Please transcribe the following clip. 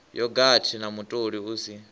yogathi na mutoli u si